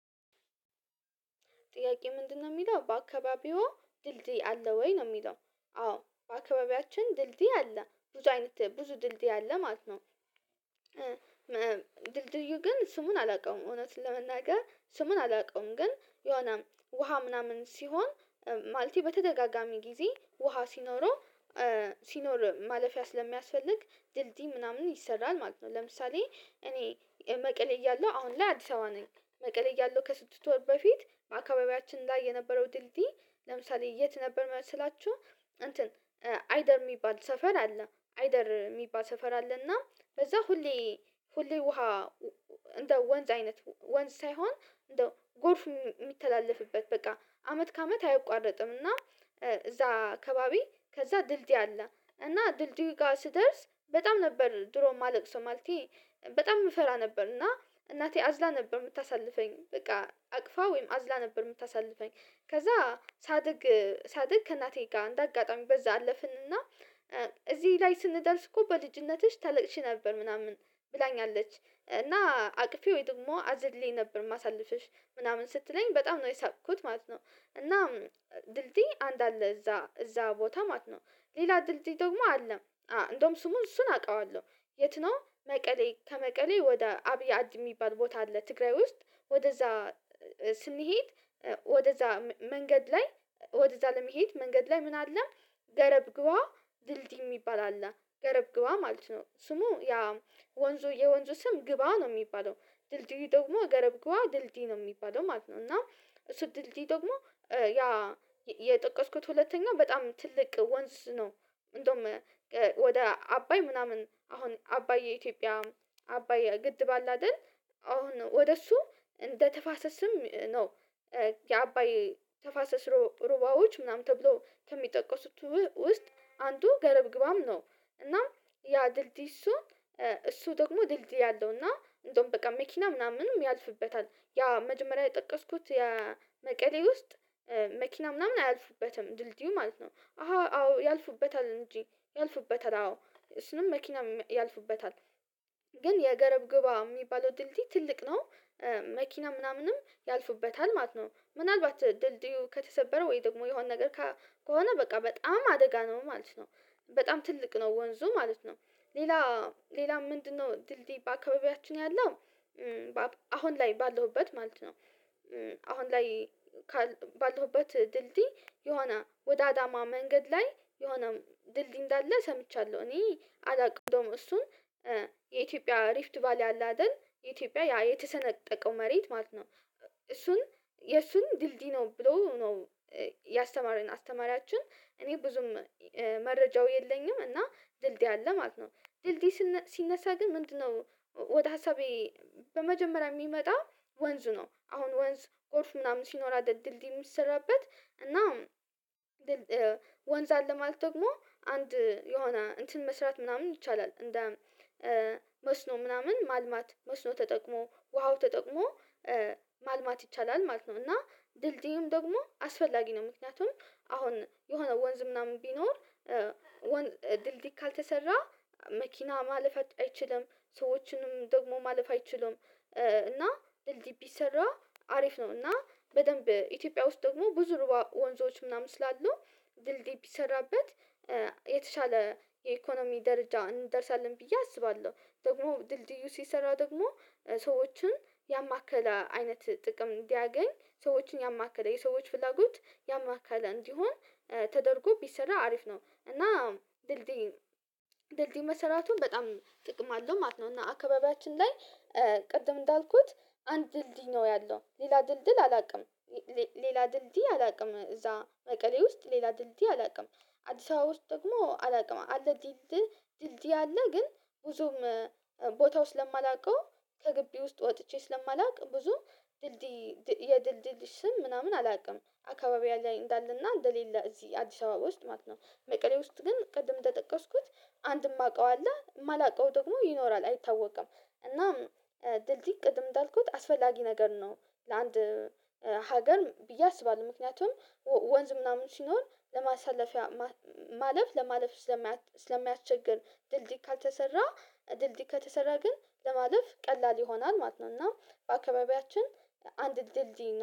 ጥያቄ ምንድነው የሚለው በአካባቢው ድልድይ አለ ወይ ነው የሚለው? አዎ በአካባቢያችን ድልድይ አለ ብዙ አይነት ብዙ ድልድይ አለ ማለት ነው። ድልድዩ ግን ስሙን አላውቀውም እውነት ለመናገር ስሙን አላውቀውም ግን የሆነ ውሃ ምናምን ሲሆን ማለቴ በተደጋጋሚ ጊዜ ውሃ ሲኖረው ሲኖር ማለፊያ ስለሚያስፈልግ ድልድይ ምናምን ይሰራል ማለት ነው። ለምሳሌ እኔ መቀሌ እያለሁ አሁን ላይ አዲስ አበባ ነኝ። መቀሌ እያለሁ ከስድስት ወር በፊት በአካባቢያችን ላይ የነበረው ድልድይ ለምሳሌ የት ነበር መሰላችሁ? እንትን አይደር የሚባል ሰፈር አለ አይደር የሚባል ሰፈር አለና በዛ ሁሌ ሁሌ ውሃ እንደ ወንዝ አይነት ወንዝ ሳይሆን እንደ ጎርፍ የሚተላለፍበት በቃ አመት ከአመት አይቋረጥም። እና እዛ አካባቢ ከዛ ድልድይ አለ እና ድልድይ ጋር ስደርስ በጣም ነበር ድሮ የማለቅሰው ማለቴ በጣም የምፈራ ነበር እና እናቴ አዝላ ነበር የምታሳልፈኝ በቃ አቅፋ ወይም አዝላ ነበር የምታሳልፈኝ። ከዛ ሳድግ ሳድግ ከእናቴ ጋር እንደ አጋጣሚ በዛ አለፍንና እዚህ ላይ ስንደርስ እኮ በልጅነትሽ ታለቅሺ ነበር ምናምን ብላኛለች እና አቅፌ ወይ ደግሞ አዘልኝ ነበር የማሳልፍሽ ምናምን ስትለኝ በጣም ነው የሳቅኩት ማለት ነው። እና ድልድይ አንድ አለ እዛ እዛ ቦታ ማት ነው ሌላ ድልድይ ደግሞ አለም። እንደውም ስሙን እሱን አውቃለሁ። የት ነው መቀሌ ከመቀሌ ወደ አብያድ የሚባል ቦታ አለ ትግራይ ውስጥ። ወደዛ ስንሄድ ወደዛ መንገድ ላይ ወደዛ ለመሄድ መንገድ ላይ ምን አለ? ገረብ ግቧ ድልድይ የሚባል አለ ገረብ ግባ ማለት ነው ስሙ ያ ወንዙ የወንዙ ስም ግባ ነው የሚባለው ድልድይ ደግሞ ገረብ ግዋ ድልድይ ነው የሚባለው ማለት ነው። እና እሱ ድልድይ ደግሞ ያ የጠቀስኩት ሁለተኛ በጣም ትልቅ ወንዝ ነው። እንደውም ወደ አባይ ምናምን አሁን አባይ ኢትዮጵያ አባየ ግድብ አለ አይደል? አሁን ወደ እሱ እንደ ተፋሰስም ነው የአባይ ተፋሰስ ሩባዎች ምናምን ተብሎ ከሚጠቀሱት ውስጥ አንዱ ገረብግባም ነው። እናም ያ ድልድይ እሱ እሱ ደግሞ ድልድይ አለው እና እንደውም በቃ መኪና ምናምንም ያልፍበታል። ያ መጀመሪያ የጠቀስኩት ያ መቀሌ ውስጥ መኪና ምናምን አያልፍበትም ድልድዩ ማለት ነው። አዎ ያልፉበታል እንጂ ያልፉበታል አዎ እሱንም መኪና ያልፉበታል። ግን የገረብ ግባ የሚባለው ድልድይ ትልቅ ነው። መኪና ምናምንም ያልፉበታል ማለት ነው። ምናልባት ድልድዩ ከተሰበረ ወይ ደግሞ የሆነ ነገር ከሆነ በቃ በጣም አደጋ ነው ማለት ነው። በጣም ትልቅ ነው ወንዙ ማለት ነው። ሌላ ሌላ ምንድነው ድልድይ በአካባቢያችን ያለው? አሁን ላይ ባለሁበት ማለት ነው። አሁን ላይ ባለሁበት ድልድይ የሆነ ወዳዳማ መንገድ ላይ የሆነ ድልድይ እንዳለ ሰምቻለሁ። እኔ አላውቅም እንደውም እሱን የኢትዮጵያ ሪፍት ቫል ያለ አይደል ኢትዮጵያ የተሰነጠቀው መሬት ማለት ነው። እሱን የእሱን ድልድይ ነው ብሎ ነው። ያስተማረኝ አስተማሪያችን እኔ ብዙም መረጃው የለኝም። እና ድልድይ አለ ማለት ነው። ድልድይ ሲነሳ ግን ምንድነው? ወደ ሀሳቤ በመጀመሪያ የሚመጣ ወንዝ ነው አሁን ወንዝ ጎርፍ ምናምን ሲኖር አደል ድልድይ የሚሰራበት እና። ወንዝ አለ ማለት ደግሞ አንድ የሆነ እንትን መስራት ምናምን ይቻላል እንደ መስኖ ምናምን ማልማት መስኖ ተጠቅሞ ውሃው ተጠቅሞ ማልማት ይቻላል ማለት ነው። እና ድልድይም ደግሞ አስፈላጊ ነው። ምክንያቱም አሁን የሆነ ወንዝ ምናምን ቢኖር ድልድይ ካልተሰራ መኪና ማለፍ አይችልም ሰዎችንም ደግሞ ማለፍ አይችልም። እና ድልድይ ቢሰራ አሪፍ ነው። እና በደንብ ኢትዮጵያ ውስጥ ደግሞ ብዙ ወንዞች ምናምን ስላሉ ድልድይ ቢሰራበት የተሻለ የኢኮኖሚ ደረጃ እንደርሳለን ብዬ አስባለሁ። ደግሞ ድልድዩ ሲሰራ ደግሞ ሰዎችን ያማከለ አይነት ጥቅም እንዲያገኝ ሰዎችን ያማከለ የሰዎች ፍላጎት ያማካለ እንዲሆን ተደርጎ ቢሰራ አሪፍ ነው። እና ድልድይን ድልድይ ድልድይ መሰራቱን በጣም ጥቅም አለው ማለት ነው። እና አካባቢያችን ላይ ቅድም እንዳልኩት አንድ ድልድይ ነው ያለው ሌላ ድልድል አላውቅም። ሌላ ድልድይ አላውቅም። እዛ መቀሌ ውስጥ ሌላ ድልድይ አላውቅም። አዲስ አበባ ውስጥ ደግሞ አላውቅም አለ ድልድይ። ድልድይ አለ ግን ብዙም ቦታው ስለማላውቀው ከግቢ ውስጥ ወጥቼ ስለማላውቅ ብዙ ድልድይ የድልድይ ስም ምናምን አላውቅም አካባቢዬ ላይ እንዳለና እንደሌለ እዚህ አዲስ አበባ ውስጥ ማለት ነው። መቀሌ ውስጥ ግን ቅድም ተጠቀስኩት አንድም አውቀዋለሁ የማላውቀው ደግሞ ይኖራል አይታወቅም። እናም ድልድይ ቅድም እንዳልኩት አስፈላጊ ነገር ነው። ለአንድ ሀገር ብዬ አስባለሁ ምክንያቱም ወንዝ ምናምን ሲኖር ለማሳለፊያ ማለፍ ለማለፍ ስለማያቸግር ድልድይ ካልተሰራ ድልድይ ከተሰራ ግን ለማለፍ ቀላል ይሆናል ማለት ነው። እና በአካባቢያችን አንድ ድልድይ